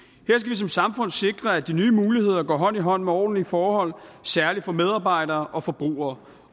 som samfund sikre at de nye muligheder går hånd i hånd med ordentlige forhold særlig for medarbejdere og forbrugere